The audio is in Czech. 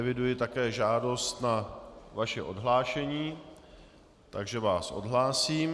Eviduji také žádost na vaše odhlášení, takže vás odhlásím.